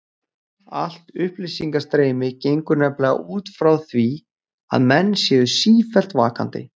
Allt upplýsingastreymi gengur nefnilega út frá því að menn séu sífellt vakandi.